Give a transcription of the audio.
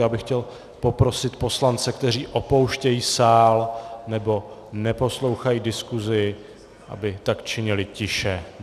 Já bych chtěl poprosit poslance, kteří opouštějí sál nebo neposlouchají diskusi, aby tak činili tiše.